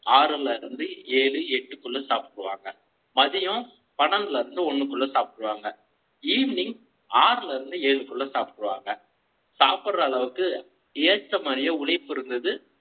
ஆறிலிருந்து ஏழு எட்டுக்குள்ள சாப்பிடுவாங்க மதியம் பன்னன்டுல லிருந்து ஒன்னுக்குள்ள சாப்பிடுவாங்க evening ஆறுல இருந்து ஏழுக்குள்ள சாப்பிடுவாங்க. சாப்பிடுற அளவுக்கு ஏத்த மாதிரி உழைப்பு இருந்தது.